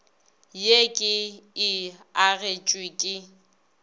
ye ke e agetšwe ke